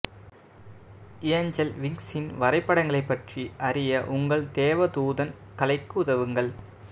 angel விங்ஸின் வரைபடங்களைப் பற்றி அறிய உங்கள் தேவதூதன் கலைக்கு உதவுங்கள்